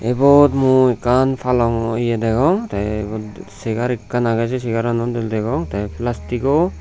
ebot mui ekkan palongo eya degong te ebot segar ekkan agey say segarano dol degong tey plasticgo.